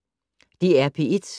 DR P1